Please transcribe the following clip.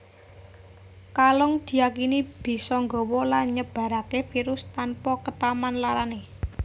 Kalong diyakini bisa nggawa lan nyebaraké virus tanpa ketaman larané